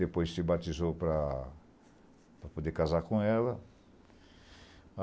Depois se batizou para para poder casar com ela.